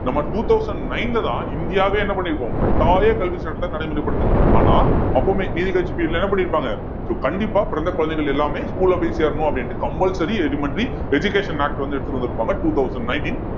நம்ம two thousand nine லதான் இந்தியாவே என்ன பண்ணிருக்கும் கட்டாய கல்விச் சட்டத்தை நடைமுறைப்படுத்திருக்கோம் ஆனா அப்பமே நீதிக்கட்சி period ல என்ன பண்ணியிருப்பாங்க so கண்டிப்பா பிறந்த குழந்தைகள் எல்லாமே school ல போய் சேரணும் அப்படின்னுட்டு compulsory elementary education act வந்து எடுத்துட்டு வந்திருப்பாங்க two thousand nineteen